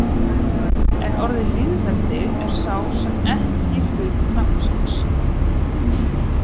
En orðið lýðveldi er sem sé ekki hluti nafnsins.